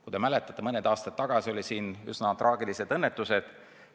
Kui te mäletate, siis mõni aasta tagasi juhtusid meil üsna traagilised õnnetused.